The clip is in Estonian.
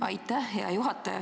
Aitäh, hea juhataja!